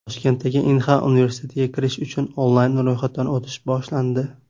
Toshkentdagi Inha universitetiga kirish uchun onlayn ro‘yxatdan o‘tish boshlandi.